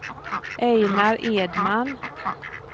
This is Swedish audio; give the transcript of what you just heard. Einar Edman